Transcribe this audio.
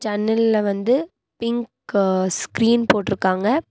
ஜன்னல்ல வந்து பிங்க் அ ஸ்கிரீன் போட்டுருக்காங்க.